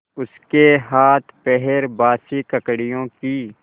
उसके हाथपैर बासी ककड़ियों की